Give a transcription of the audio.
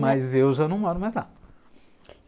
Mas eu já não moro mais lá.